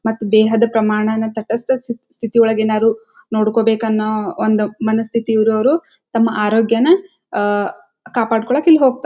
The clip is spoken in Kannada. ಮತ್ತೆ ಪ್ರಮಾಣನ ತಟಸ್ಥ ಸ್ಥಿತಿ ಒಳಗೆ ಏನಾರು ನೋಡ್ಬೇಕನ್ನು ಒಂದು ಮನಸ್ಥಿತಿ ಇರುವರು ತಮ್ಮ ಅರೋಗ್ಯ ನ ಆಹ್ಹ್ ಕಾಪಾಡಿಕೊಳ್ಳಕ್ಕೆ ಹೋಗ್ತಾ--